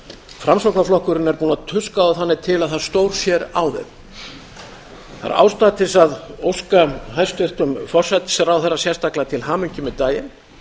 framsóknarflokkurinn er búinn að tuska þá þannig til að það stórsér á þeim það er ástæða til að óska hæstvirtum forsætisráðherra sérstaklega til hamingju með daginn